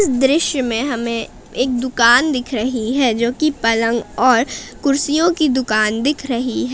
दृश्य में हमें एक दुकान दिख रही है जोकि पलंग और कुर्सियों की दुकान दिख रही है।